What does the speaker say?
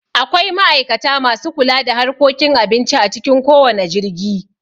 Akwai ma'aikata masu kula da harkokin abinci a cikin kowanne jirgi